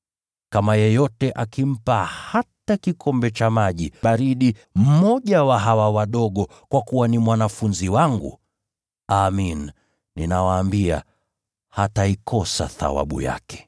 Kama yeyote akimpa hata kikombe cha maji baridi mmoja wa hawa wadogo kwa kuwa ni mwanafunzi wangu, amin, nawaambia, hataikosa thawabu yake.”